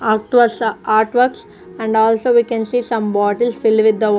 art works art works and also we can see some bottles filled with the wa --